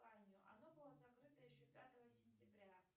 оно было закрыто еще пятого сентября